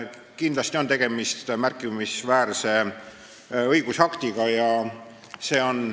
Kindlasti on tegemist märkimisväärse õigusaktiga.